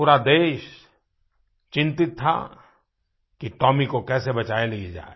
पूरा देश चिंतित था कि टोमी को कैसे बचा लिया जाए